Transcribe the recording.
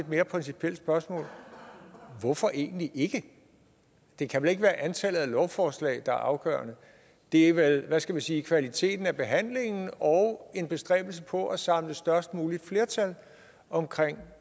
mere principielt spørgsmål hvorfor egentlig ikke det kan vel ikke være antallet af lovforslag der er afgørende det er vel hvad skal man sige kvaliteten af behandlingen og en bestræbelse på at samle størst muligt flertal omkring